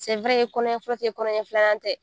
i kɔnɔɲɛ fɔlɔtɛ i kɔnɔɲɛ filanan tɛ